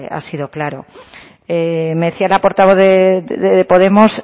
ha sido claro decía la portavoz de podemos